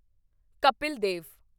Kapil Dev